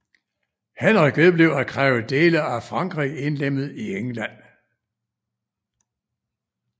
Henrik vedblev at kræve dele af Frankrig indlemmet i England